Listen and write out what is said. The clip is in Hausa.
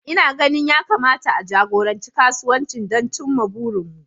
Ina ganin ya kamata a jagoranci kasuwancin don cimma burinmu